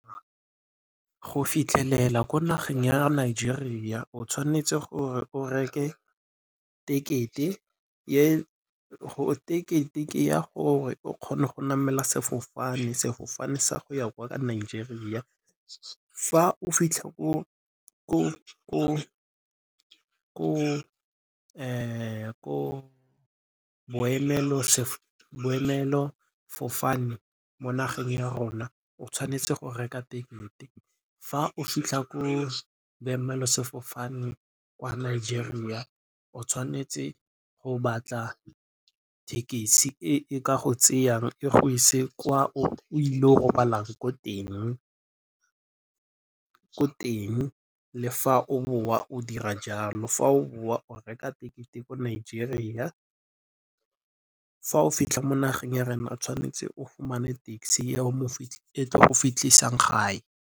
Go fitlhelela ko nageng ya Nigeria o tshwanetse gore o reke tekete ya gore o kgone go namela sefofane, sefofane sa go ya kwa Nigeria. Fa o fitlha ko boemelo fofane mo nageng ya rona o tshwanetse go reka tekete, fa o fitlha ko boemelo sefofane kwa Nigeria o tshwanetse go batla thekisi e e ka go tseyang e go ise kwa o ile go robalang ko teng. Le fa o boa o dira jalo, fa o boa o reka tekete ko Nigeria, fa o fitlha mo nageng ya rena o tshwanetse o fumane taxi e tlo go fitlhisang gae.